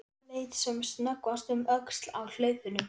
Leit sem snöggvast um öxl á hlaupunum.